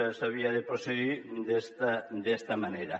s’havia de procedir d’esta manera